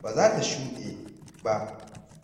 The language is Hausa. ba za ta shuɗe ba.